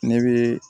Ne bɛ